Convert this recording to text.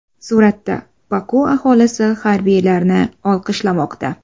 Suratda: Boku aholisi harbiylarni olqishlamoqda.